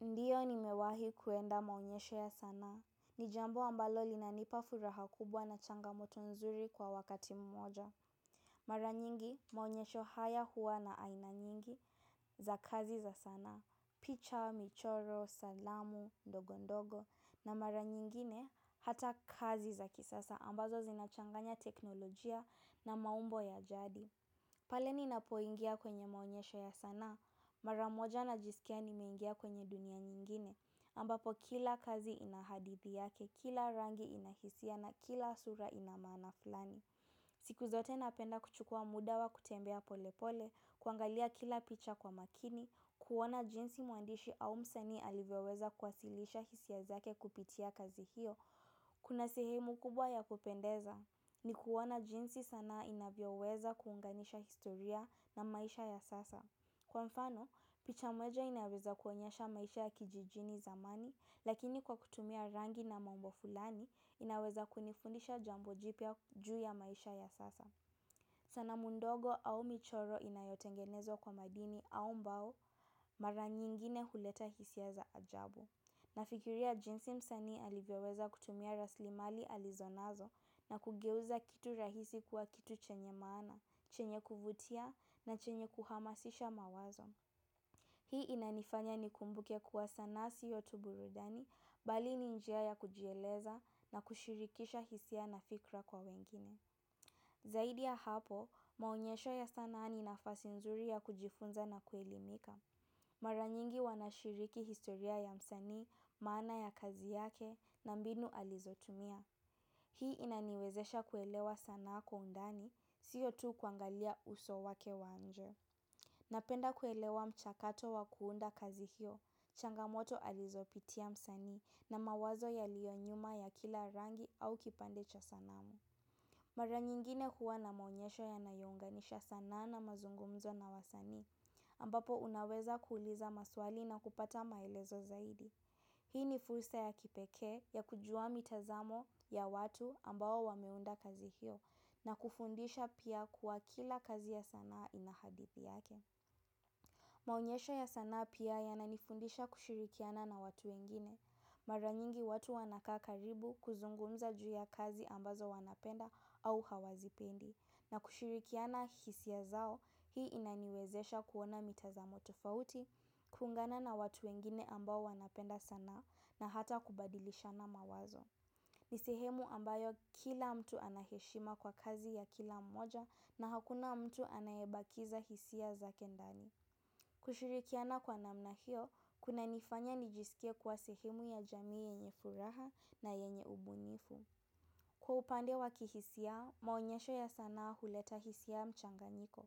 Ndiyo nimewahi kuenda maonyesho ya sanaa. Ni jambo ambalo linanipa furaha kubwa na changamoto nzuri kwa wakati mmoja. Mara nyingi maonyesho haya huwa na aina nyingi za kazi za sanaa. Picha, michoro, salamu ndogo ndogo na mara nyingine hata kazi za kisasa ambazo zinachanganya teknolojia na maumbo ya jadi. Pale ninapoingia kwenye maonyesho ya sanaa, maramoja najisikia nimeingia kwenye dunia nyingine, ambapo kila kazi inahadithi yake, kila rangi inahisia na kila sura ina maana fulani. Siku zote napenda kuchukua muda wa kutembea polepole, kuangalia kila picha kwa makini, kuona jinsi mwandishi au msanii alivyoweza kuwasilisha hisia zake kupitia kazi hiyo, kuna sehemu kubwa ya kupendeza ni kuona jinsi sana inavyoweza kuunganisha historia na maisha ya sasa. Kwa mfano, picha moja inaweza kuonyesha maisha ya kijijini zamani, lakini kwa kutumia rangi na mambo fulani, inaweza kunifundisha jambo jipya juu ya maisha ya sasa. Sanamu ndogo au michoro inayotengenezwa kwa madini au mbao mara nyingine huleta hisia za ajabu. Nafikiria jinsi msanii alivyoweza kutumia rasilimali alizonazo na kugeuza kitu rahisi kuwa kitu chenye maana, chenye kuvutia na chenye kuhamasisha mawazo. Hii inanifanya nikumbuke kuwa sanaa siyo tu burudani bali ni njia ya kujieleza na kushirikisha hisia na fikra kwa wengine. Zaidi ya hapo, maonyesho ya sanaa ni nafasi nzuri ya kujifunza na kuelimika. Mara nyingi wanashiriki historia ya msanii, maana ya kazi yake na mbinu alizotumia. Hii inaniwezesha kuelewa sanaa kwa undani, siyo tu kuangalia uso wake wa nje. Napenda kuelewa mchakato wa kuunda kazi hiyo, changamoto alizopitia msanii na mawazo yalionyuma ya kila rangi au kipande cha sanamu. Mara nyingine huwa na maonyesho yanayounganisha sanaa na mazungumzo na wasanii, ambapo unaweza kuuliza maswali na kupata maelezo zaidi. Hii ni fursa ya kipekee ya kujua mitazamo ya watu ambao wameunda kazi hiyo na kufundisha pia kuwa kila kazi ya sanaa ina hadithi yake. Maonyesha ya sanaa pia yananifundisha kushirikiana na watu wengine. Mara nyingi watu wanakaa karibu kuzungumza juu ya kazi ambazo wanapenda au hawazipendi. Na kushirikiana hisia zao hii inaniwezesha kuona mitazamo tofauti, kuungana na watu wengine ambao wanapenda sanaa na hata kubadilishana mawazo. Ni sehemu ambayo kila mtu anaheshima kwa kazi ya kila mmoja na hakuna mtu anayebakiza hisia zake ndani. Kushurikiana kwa namna hiyo, kunanifanya nijisikie kuwa sehemu ya jamii yenye furaha na yenye ubunifu. Kwa upande wakihisia, maonyesho ya sanaa huleta hisia ya mchanganyiko.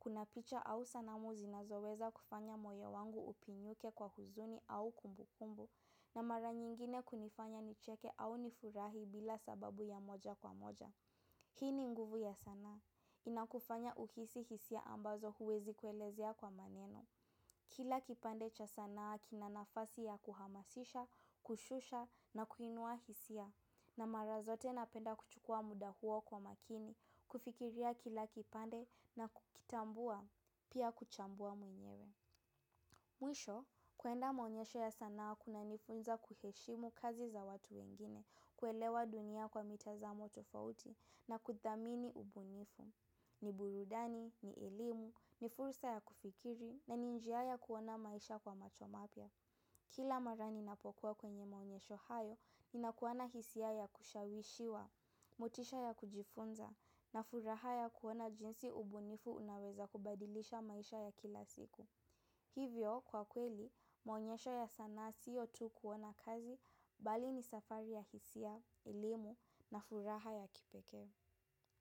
Kuna picha au sanamu zinazoweza kufanya moyo wangu upinyuke kwa huzuni au kumbukumbu. Na mara nyingine kunifanya nicheke au nifurahi bila sababu ya moja kwa moja. Hii ni nguvu ya sanaa. Inakufanya uhisi hisia ambazo huwezi kuelezea kwa maneno. Kila kipande cha sanaa kina nafasi ya kuhamasisha, kushusha na kuinua hisia. Na mara zote napenda kuchukua muda hua kwa makini, kufikiria kila kipande na kukitambua, pia kuchambua mwenyewe. Mwisho, kuenda maonyesho ya sanaa kunanifunza kuheshimu kazi za watu wengine, kuelewa dunia kwa mitazamo tofauti na kuthamini ubunifu. Ni burudani, ni elimu, ni fursa ya kufikiri na ni njia ya kuona maisha kwa macho mapya. Kila mara ninapokuwa kwenye maonyesho hayo, ninakuwa na hisia ya kushawishiwa, motisha ya kujifunza na furaha ya kuona jinsi ubunifu unaweza kubadilisha maisha ya kila siku. Hivyo, kwa kweli, maonyesho ya sanaa siyo tu kuona kazi, bali ni safari ya hisia, elimu na furaha ya kipekee.